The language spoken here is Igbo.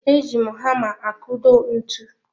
E ji hama akudo ntụ